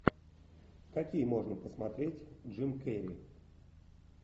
какие можно посмотреть джим керри